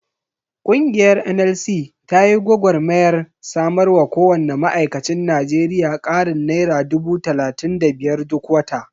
Ƙungiyar NLC ta yi gwagarmayar samarwa kowanne ma'aikacin Najeriya ƙarin naira dubu talatin da biyar duk wata.